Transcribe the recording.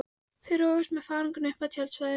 Þau roguðust með farangurinn upp að tjaldstæðinu.